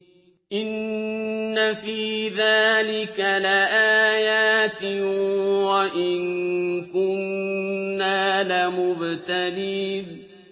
إِنَّ فِي ذَٰلِكَ لَآيَاتٍ وَإِن كُنَّا لَمُبْتَلِينَ